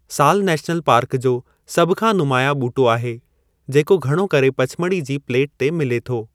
सालु national park जो सभ खां नुमायां ॿूटो आहे, जेको घणो करे पचमढ़ी जी प्लेट ते मिले थो।